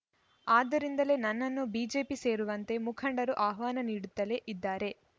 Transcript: ಆದ್ದರಿಂದಲೇ ನನ್ನನ್ನು ಬಿಜೆಪಿ ಸೇರುವಂತೆ ಮುಖಂಡರು ಆಹ್ವಾನ ನೀಡುತ್ತಲೇ ಇದ್ದಾರೆ